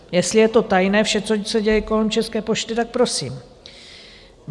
Jestli je to tajné, vše, co se děje kolem České pošty, tak prosím.